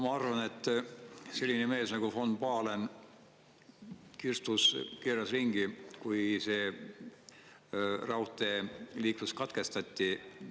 Ma arvan, et selline mees nagu von Pahlen kirstus keeras ringi, kui see raudteeliiklus katkestati.